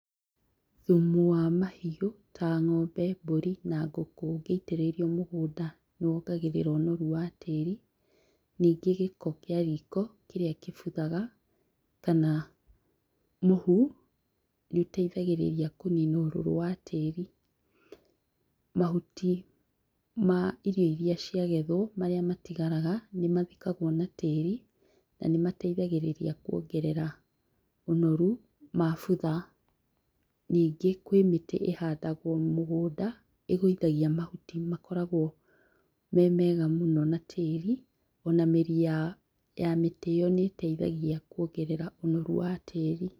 Thumu wa mahiũ ta ng'ombe, mbũri, na ngũkũ ũngĩitĩrĩrio mũgũnda nĩ wongagĩrĩra ũnoru wa tĩĩri, ningĩ gĩko kĩa riko kĩrĩa kĩbuthaga kana mũhũ, nĩuteithagĩrĩria kũnina ũrũrũ wa tĩĩri. Mahuti ma irio iria ciagethwo, marĩa matigaraga, nĩmathikagwo na tĩĩri, na nĩmateithagĩrĩria kuongerera ũnoru, mabutha. Ningĩ kwĩ mĩtĩ ĩhandagwo mũgũnda, ĩgũithagia mahuti makoragwo me mega mũno na tĩĩri, ona mĩri ya mĩtĩ ĩyo nĩĩteithagia kuongerera ũnoru wa tĩĩri.